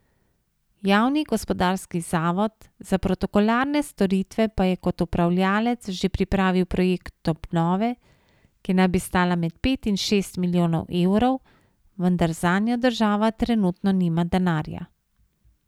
Javni gospodarski zavod za protokolarne storitve pa je kot upravljavec že pripravil projekt obnove, ki naj bi stala med pet in šest milijonov evrov, vendar zanjo država trenutno nima denarja.